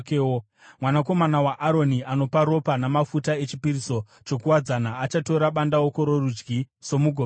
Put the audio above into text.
Mwanakomana waAroni anopa ropa namafuta echipiriso chokuwadzana achatora bandauko rokurudyi somugove wake.